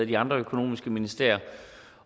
de andre økonomiske ministerier